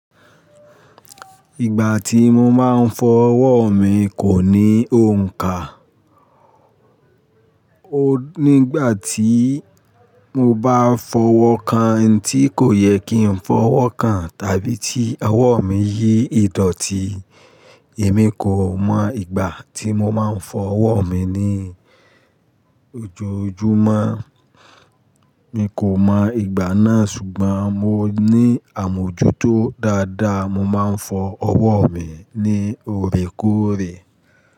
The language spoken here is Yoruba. Ìgbà tí mo máa ń fọ ọwọ́ mi kò ní òǹkà. O nígbà tí mo bá fọwọ́ kan n tí kò yẹ kí n fọwọ́ kan, tàbí tí ọwọ́ mi yí ìdọ́tì, èmi kò mọ ìgbà tí mo máa ń fọ ọwọ́ mi ní ojoojúmọ́. Mi kò mọ ìgbà náà ṣùgbọ́n mo ní àmójútó dáadáa, mo máa ń fọ ọwọ́ mi ní òrékòrè.